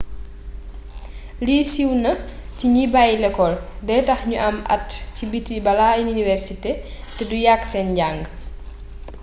lii siw na ci gni bayi lecol dey tax niu am at ci biti bala iniwersité té du yaaq sen njang